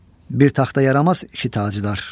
Bir taxta yaramaz iki tacdar!"